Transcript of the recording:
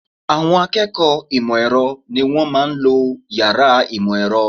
Àwọn akẹ́kọ̀ọ́ ìmọ̀ ẹ̀rọ ni wọ́n máa ń lo yàrá ìmọ̀ ẹ̀rọ